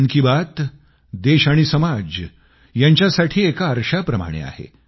मन की बात देश आणि समाज यांच्यासाठी एका आरशाप्रमाणे आहे